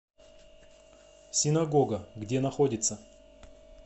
синагога где находится